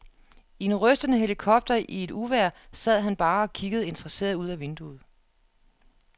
I en rystende helikopter i et uvejr sad han bare og kiggede interesseret ud ad vinduet.